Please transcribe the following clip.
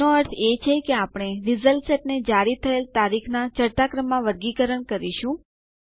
એનો અર્થ એ છે કે આપણે રીઝલ્ટ સેટ ને જારી થયેલ તારીખનાં ચઢતા ક્રમમાં વર્ગીકરણ કરીશું